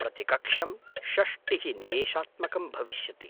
प्रतिकक्ष्यं षष्टिः निमेषात्मकं भविष्यति।